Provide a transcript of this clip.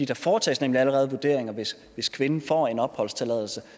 der foretages nemlig allerede vurderinger hvis kvinden får en opholdstilladelse